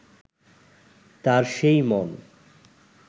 তার সেই মন